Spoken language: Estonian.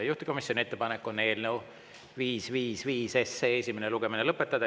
Juhtivkomisjoni ettepanek on eelnõu 555 esimene lugemine lõpetada.